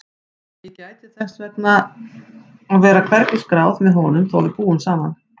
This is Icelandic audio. Ég gæti þess að vera hvergi skráð með honum þó að við búum saman.